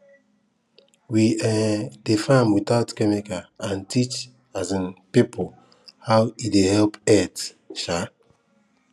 we um dey farm without chemical and teach um people how e dey help earth um